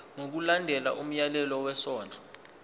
ngokulandela umyalelo wesondlo